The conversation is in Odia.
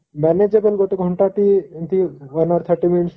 manageable ଗୋଟେ ଘଣ୍ଟା ଟି ଏମିତି one hour thirty minute